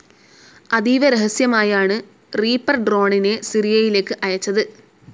അതീവ രഹസ്യമായാണ് റിപ്പർ ഡ്രോണിനെ സിറിയയിലേക്ക് അയച്ചത്.